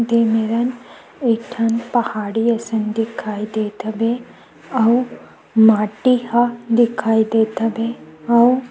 दे मरन एक ठन पहाड़ी असन दिखाई देत हवे अऊ माटी का दिखाई देत हवे अऊ--